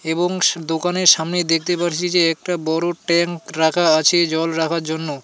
এবং দোকানের সামনে দেখতে পারছি যে একটা বড়ো ট্যাঙ্ক রাখা আছে জল রাখার জন্য.